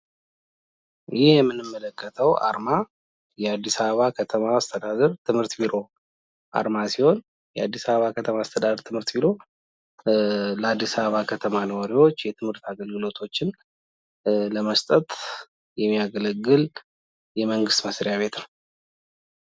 ይህ የምናየው አርማ የአዲስ አበባ ከተማ አስተዳደር ትምህርት ቢሮ ሲሆን የአዲስ አበባ ከተማ ትምህርት ቢሮ ለ አዲስ አበባ ከተማ ነዋሪዎች የትምህርት አግልግሎት ለመስጠት የሚያገለግል የመንግስት መስሪያ ቤት ነው ።